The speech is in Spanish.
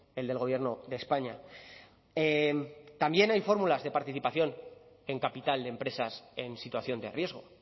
el del gobierno de españa también hay fórmulas de participación en capital de empresas en situación de riesgo